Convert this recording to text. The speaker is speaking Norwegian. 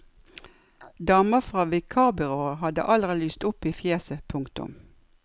Dama fra vikarbyrået hadde allerede lyst opp i fjeset. punktum